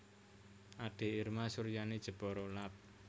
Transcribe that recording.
Ade Irma Suryani Jepara Lab